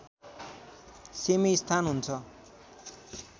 सेमि स्थान हुन्छ